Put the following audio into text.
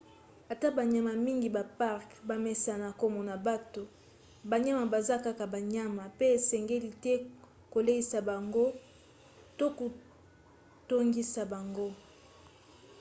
ata banyama mingi ya parke bamesana komona bato banyama baza kaka banyama pe esengeli te koleisa bango to kotungisa bango